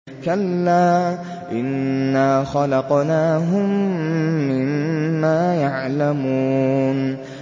كَلَّا ۖ إِنَّا خَلَقْنَاهُم مِّمَّا يَعْلَمُونَ